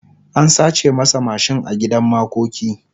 an sace masa mashin a gidan makoki